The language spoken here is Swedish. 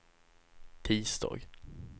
tisdag